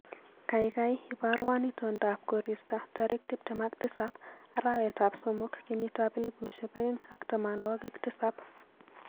Gaigai ibarwon itondab koristo tarik tuptem ak tisap arawetab somok kenyitab elbushek aeng ak tamanwogik tisap